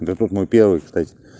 готов мой первый кстати